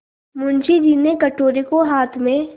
मुंशी जी ने कटोरे को हाथ में